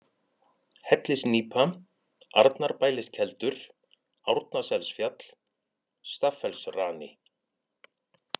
Hellisnípa, Arnarbæliskeldur, Árnaselsfjall, Staffellsrani